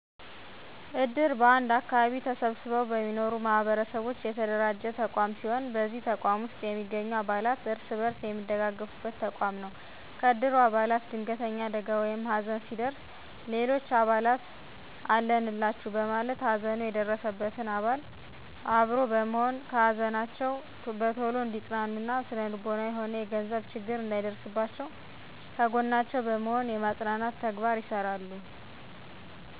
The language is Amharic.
እድር በአንድ አከባቢ ተሰብስበው በሚኖሩ ማህበረሰቦች የተደራጀ ተቋም ሲሆን በዚህ ተቋም ውስጥ የሚገኙ አባላት እርስ በርስ የሚደጋገፉበት ተቋም ነው። ከእድሩ አባላት ድንገተኛ አደጋ ወይም ሀዘን ሲደርስ ሌሎች አባላት አለንላቹ በማለት ሀዘኑ የደረሰበትን አባል አብሮ በመሆን ከሀዘናቸው በቶሎ እንዲፅናኑ እና ስነልቦናዊም ሆነ የገንዘብ ችግር እንዳይደርስባቸው ከጎናቸው በመሆን የማፅናናት ተግባር ይሰራሉ።